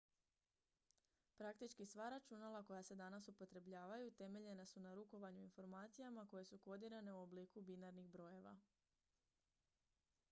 praktički sva računala koja se danas upotrebljavaju temeljena su na rukovanju informacijama koje su kodirane u obliku binarnih brojeva